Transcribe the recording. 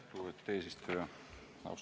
Lugupeetud eesistuja!